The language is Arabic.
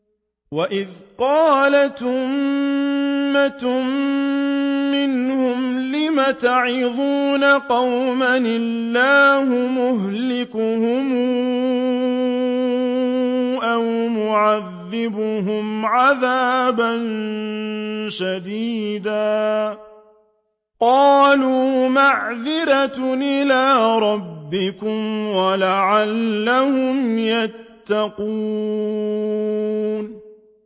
وَإِذْ قَالَتْ أُمَّةٌ مِّنْهُمْ لِمَ تَعِظُونَ قَوْمًا ۙ اللَّهُ مُهْلِكُهُمْ أَوْ مُعَذِّبُهُمْ عَذَابًا شَدِيدًا ۖ قَالُوا مَعْذِرَةً إِلَىٰ رَبِّكُمْ وَلَعَلَّهُمْ يَتَّقُونَ